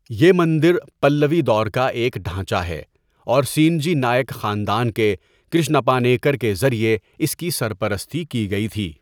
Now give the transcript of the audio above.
یہ مندر پلوی دور کا ایک ڈھانچہ ہے اور سینجی نائک خاندان کے کرشنپا نیکر کے ذریعے اس کی سر پرستی کی گئی تھی۔